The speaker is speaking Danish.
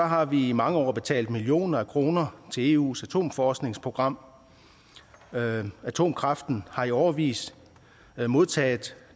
har vi i mange år betalt millioner af kroner til eus atomforskningsprogram atomkraften har i årevis modtaget